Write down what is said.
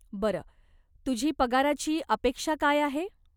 बरं, तुझी पगाराची अपेक्षा काय आहे?